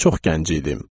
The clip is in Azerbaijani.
Çox gənc idim.